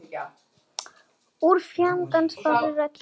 Úr fjarska barst rödd.